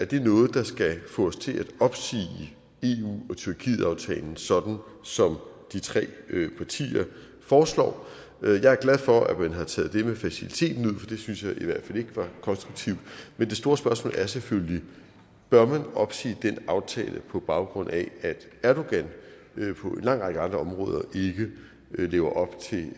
det noget der skal få os til at opsige eu tyrkiet aftalen sådan som de tre partier foreslår jeg er glad for at man har taget det med faciliteten ud det synes jeg i hvert fald ikke var konstruktivt men det store spørgsmål er selvfølgelig bør man opsige den aftale på baggrund af at erdogan på en lang række andre områder ikke lever op til det